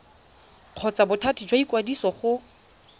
kgotsa bothati jwa ikwadiso go